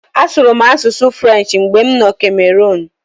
Asụrụ m asụsụ French mgbe m nọ Cameroon.